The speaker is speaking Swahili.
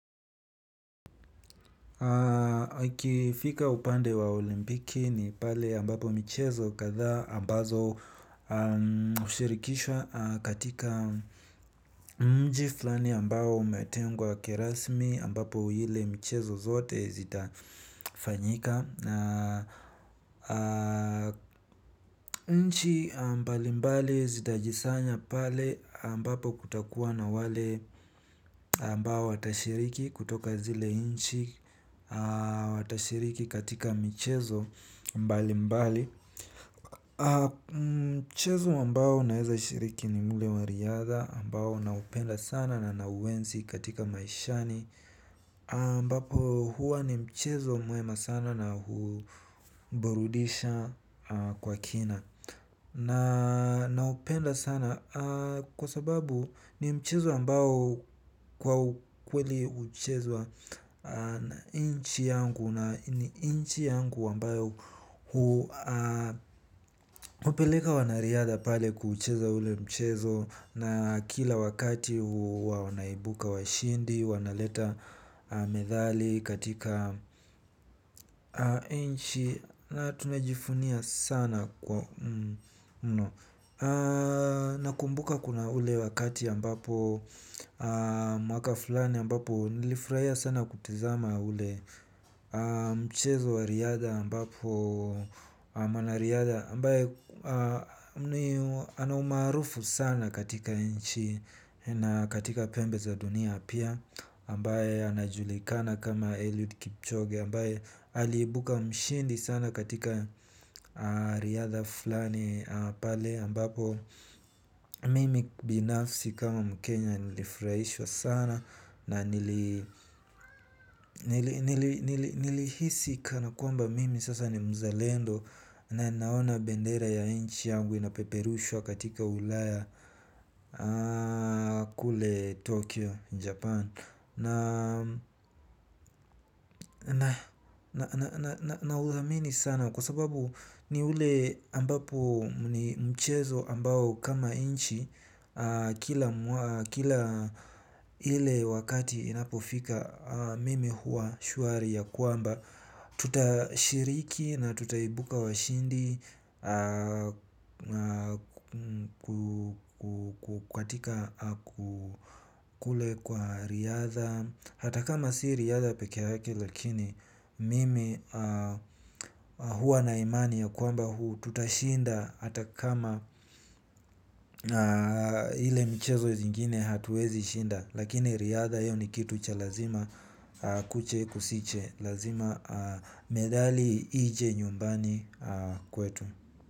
Kifika upande wa olimpiki ni pale ambapo michezo kadhaa ambazo hushirikishwa katika mji flani ambao umetengwa kirasmi ambapo ile michezo zote zitafanyika. Na nchi mbali mbali zitajisanya pale ambapo kutakuwa na wale ambao watashiriki kutoka zile nchi watashiriki katika michezo mbali mbali. Mchezo ambao naweza shiriki ni mue wa riadha ambao naupenda sana na na uenzi katika maishani ambapo huwa ni mchezo mwema sana na huburudisha kwa kina. Na upenda sana kwa sababu ni mchezo ambao kwa kweli huchezwa. Na nchi yangu na nchi yangu ambayo hupeleka wanariadha pale kuchezo ule mchezo na kila wakati wanaibuka washindi, wanaleta medali katika nchi. Na tunajivunia sana kwa mno nakumbuka kuna ule wakati ambapo mwaka fulani ambapo nilifurahia sana kutizama ule. Mchezo wa riadha ambapo mwanariadha ambaye ana umaarufu sana katika nchi. Na katika pembe za dunia pia ambaye anajulikana kama Eliud Kipchoge ambaye aliibuka mshindi sana katika riadha fulani pale ambapo mimi binafsi kama mkenya nilifurahishwa sana na nili nilihisi kana kwamba mimi sasa ni mzalendo na naona bendera ya nchi yangu inapeperushwa katika ulaya. Kule Tokyo, Japan. Na uamini sana kwa sababu ni ule ambapo mchezo ambao kama nchi kila ile wakati inapofika mimi huwa shwari ya kwamba tutashiriki na tutaibuka washindi kwa katika kule kwa riadha hata kama si riadha peke yake lakini mimi huwa na imani ya kwamba huu tutashinda kama ile mchezo zingine hatuwezi shinda. Lakini riadha hiyo ni kitu cha lazima kuche kusiche. Lazima medali ije nyumbani kwetu.